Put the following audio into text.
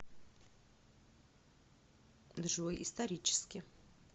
джой исторически